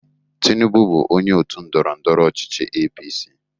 Tinubu bụ onye otu ndọrọndọrọ ọchịchị APC.